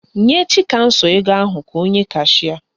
Nye Chikamso ego ahụ ka o nye kashịa